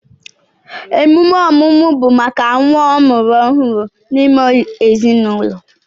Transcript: Emume ọmụmụ bụ maka nnwa amụrụ ọhụrụ n'ime ezinụlọ